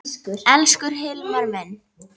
Elsku Hilmar minn.